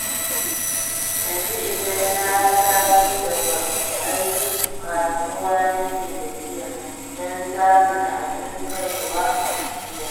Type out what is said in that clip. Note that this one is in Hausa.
Yanzu idan na taso daga aiki, kasuwa nake tafiya, don samun abin kaiwa gida.